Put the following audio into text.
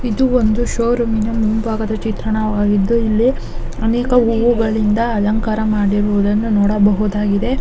ಇದು ಒಂದು showroom ನ ಮುಂಭಾಗದ ಚಿತ್ರಣವಾಗಿದ್ದು ಇಲ್ಲಿ ಅನೇಕ ಹೂವುಗಳಿಂದ ಅಲಂಕಾರ ಮಾಡಿರುವುದನ್ನು ನೋಡಬಹುದಾಗಿದೆ.